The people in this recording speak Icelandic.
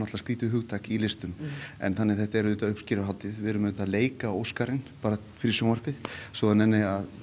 hugtak í listum en þetta er auðvitað uppskeruhátíð við erum auðvitað að leika Óskarinn bara fyrir sjónvarpið svo það nenni að